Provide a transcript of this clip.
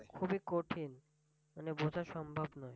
খুবিই কঠিন। মানে বুঝা সম্ভব নয়